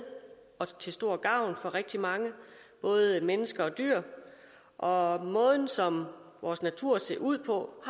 og til stor gavn for rigtig mange både mennesker og dyr og måden som vores natur ser ud på